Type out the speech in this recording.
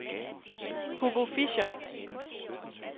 Hugo Fischer